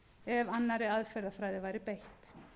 ef annarri aðferðafræði væri beitt